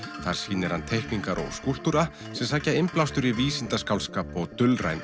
þar sýnir hann teikningar og skúlptúra sem sækja innblástur í vísindaskáldskap og